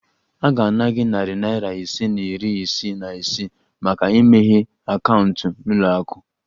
A ga-ana gị narị naira ise na iri isii na isii maka imeghe akaụntụ na ụlọ akụ